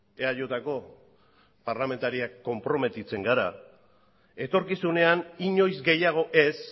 eajko parlamentariok konprometitzen gara etorkizunean inoiz gehiago ez